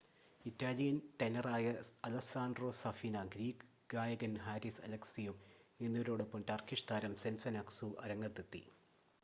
Italian ടെനറായ Alessandro Safina Greek ഗായകൻ Haris Alexiou എന്നിവരോടൊപ്പം ടർക്കിഷ് താരം സെസെൻ അക്‌സു അരങ്ങത്തെത്തി